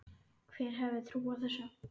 Hver hefði trúað þessu!